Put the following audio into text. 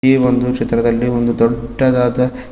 ಈ ಒಂದು ಚಿತ್ರದಲ್ಲಿ ಒಂದು ದೊಡ್ಡದಾದ--